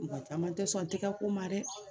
Mɔgɔ caman tɛ sɔn ti ka ko ma dɛ